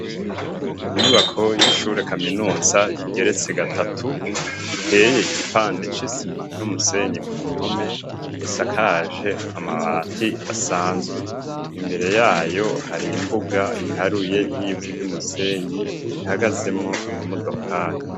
Imyubako y'ishure kaminuza igeretse gatatu iteye igipande c'isima n'umusenyi ku mpome esakaje amabati asanzwe imbere yayo hari imbuga iharuye y'ivu ry'umusenyi ihagazemwo amamodokari.